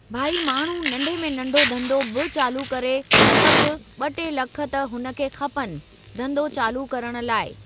भई माण्हू नंढे में नंढो धंधो बि चालू करे त बि ॿ टे लख त हुन खे खपनि धंदो चालू करण लाइ।